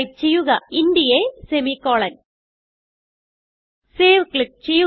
type ചെയ്യുക int a semicolon save click ചെയ്യുക